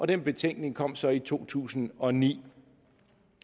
den betænkning kom så i to tusind og ni